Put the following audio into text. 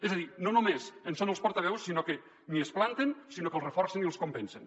és a dir no només en són els portaveus sinó que ni es planten sinó que els reforcen i els compensen